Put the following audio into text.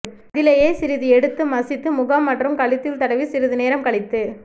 அதிலேயே சிறிது எடுத்து மசித்து முகம் மற்றும் கழுத்தில் தடவி சிறிது நேரம் கழித்துக்